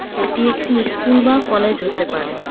এটি একটি ইস্কুল বা কলেজ হতে পারে .